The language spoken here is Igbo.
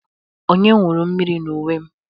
Onye wụrụ mmiri n'uwe m?